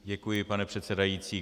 Děkuji, pane předsedající.